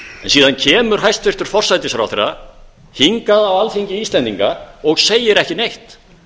síðan kemur hæstvirtur forsætisráðherra hingað á alþingi íslendinga og segir ekki neitt